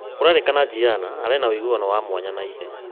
Kũrerĩkana Gianna aarĩ na ũiguano wa mwanya na ithe